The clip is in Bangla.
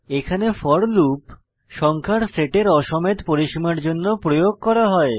এখানে ফোর লুপ সংখ্যার সেটের অ সমেত পরিসীমার জন্য প্রয়োগ করা হয়